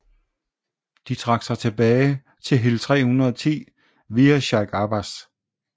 De trak sig tilbage til Hill 310 via Sheikh Abbas